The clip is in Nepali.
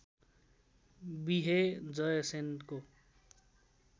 विहे जय सेनको